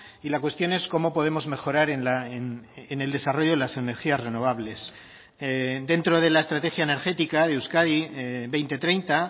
y la cuestión es cómo podemos mejorar en el desarrollo de las energías renovables dentro de la estrategia energética de euskadi dos mil treinta